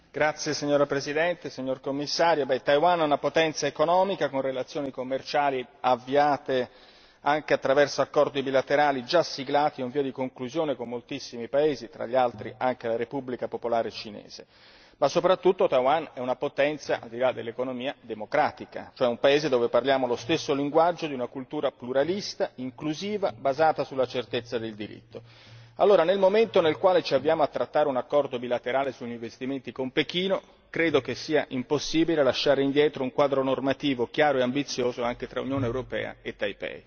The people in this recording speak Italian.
Signora Presidente, onorevoli colleghi, signor Commissario, Taiwan è una potenza economica con relazioni commerciali avviate anche attraverso accordi bilaterali già siglati o in via di conclusione con moltissimi paesi, tra gli altri anche la Repubblica popolare cinese. Ma soprattutto Taiwan è una potenza al di là dell'economia democratica, cioè un paese dove parliamo lo stesso linguaggio di una cultura pluralista, inclusiva, basata sulla certezza del diritto. Allora, nel momento in cui ci accingiamo a firmare un accordo bilaterale sugli investimenti con Pechino, credo che sia impossibile lasciare indietro un quadro normatvo chiaro e ambizioso anche tra Unione europea e Taipei.